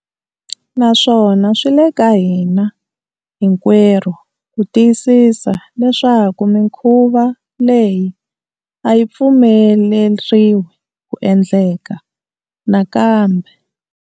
Naswona swi le ka hina hinkwerhu ku tiyisisa leswaku mikhuva leyi a yi pfumeleriwi ku endleka nakambe.